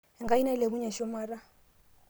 Enkai nailepunye shumata